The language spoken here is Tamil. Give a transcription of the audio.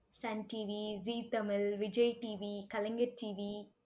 Sun TV Zee Tamil, Vijay TV Kalaignar TV